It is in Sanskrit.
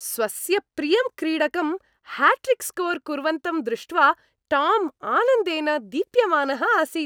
स्वस्य प्रियं क्रीडकं ह्याट्रिक् स्कोर् कुर्वन्तं दृष्ट्वा टाम् आनन्देन दीप्यमानः आसीत्।